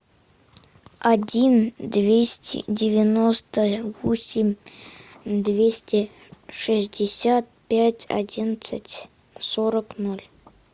один двести девяносто восемь двести шестьдесят пять одиннадцать сорок ноль